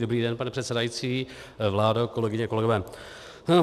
Dobrý den, pane předsedající, vládo, kolegyně, kolegové.